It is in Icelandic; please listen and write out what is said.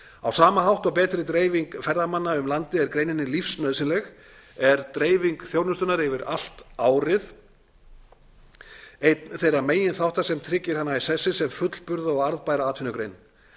á sama hátt og betri dreifing ferðamanna um landið er greininni lífsnauðsynleg er dreifing þjónustunnar yfir allt árið einn þeirra meginþátta sem tryggir hana í sessi sem fullburða og arðbæra atvinnugrein